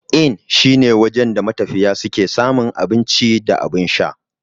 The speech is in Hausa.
Inn shine wajen da matafiya suke samun abun ci da abun sha.